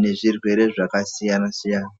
nezvirwere zvakasiyana siyana.